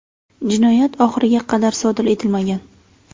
Jinoyat oxiriga qadar sodir etilmagan.